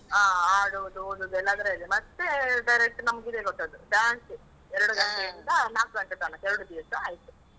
ಹ, ಆಡುವುದು, ಓದುವುದು ಎಲ್ಲ ಅದ್ರೆಲ್ಲೇ, ಮತ್ತೇ direct ನಮಗಿದೆ ಕೊಟ್ಟದ್ದು, dance ಎರಡು ಗಂಟೆಯಿಂದ ನಾಕ್ ಗಂಟೆ ತನಕ, ಎರಡು ದಿವ್ಸ ಆಯ್ತು.